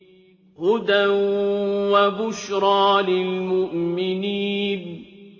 هُدًى وَبُشْرَىٰ لِلْمُؤْمِنِينَ